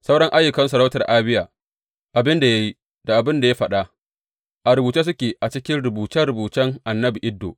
Sauran ayyukan sauratar Abiya, abin da ya yi da abin da ya faɗa, a rubuce suke a cikin rubuce rubucen annabi Iddo.